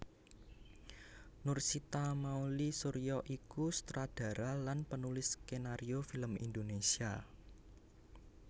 Nursita Mouly Surya iku sutradara lan penulis skenario film Indonesia